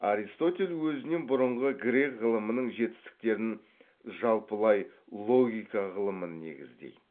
аристотель өзінен бұрынғы грек ғылымының жетістіктерін жалпылай логика ғылымын негіздейді